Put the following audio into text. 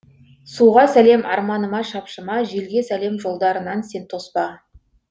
суға салем арманыма шапшыма желге салем жолдарынан сен тоспа